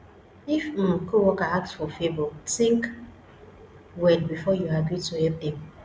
if um coworker ask for favor think well before you agree to help dem